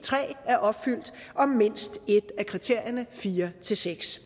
tre er opfyldt og mindst et af kriterierne fire seks